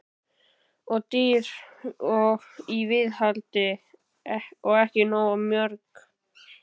Of dýr í viðhaldi og ekki nógu mörg mörk Hvert?